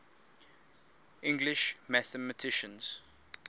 english mathematicians